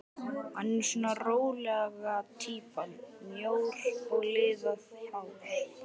Hann er svona rólega týpan, mjór með liðað hár.